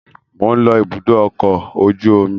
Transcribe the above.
Mo ń lọ ibùdókọ̀ ọkọ̀ ojú omi